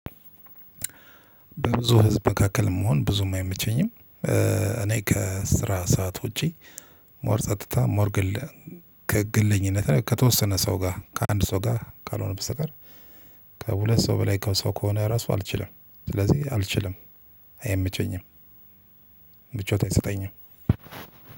በብዙ ህዝብ መካከል መሆን ብዙም አይመቸኝም። እኔ ከስራ ሰዓት ውጪ ሞር ጸጥታ ሞር ግል ከግልኝነት ላይ ከተወሰነ ሰው ጋር ከአንድ ሰው ጋር ካልሆነ በስተቀር። ከሁለት ሰው በላይ ከሰው ከሆነ ራሱ አልችልም ስለዚህ አልችልም። አይመቸኝም። ምቾት አይሰጠኝም።